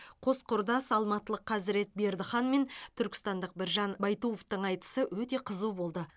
қос құрдас алматылық қазірет бердіхан мен түркістандық біржан байтуовтың айтысы өте қызу болды